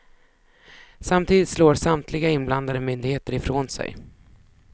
Samtidigt slår samtliga inblandade myndigheter ifrån sig.